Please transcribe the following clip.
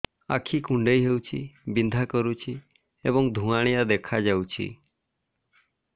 ଆଖି କୁଂଡେଇ ହେଉଛି ବିଂଧା କରୁଛି ଏବଂ ଧୁଁଆଳିଆ ଦେଖାଯାଉଛି